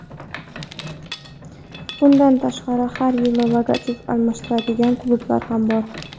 Bundan tashqari, har yili logotip almashtiradigan klublar ham bor.